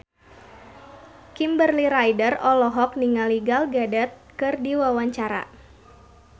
Kimberly Ryder olohok ningali Gal Gadot keur diwawancara